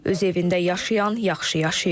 Öz evində yaşayan, yaxşı yaşayır.